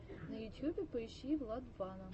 на ютьюбе поищи владвана